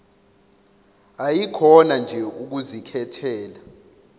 ayikhona nje ukuzikhethela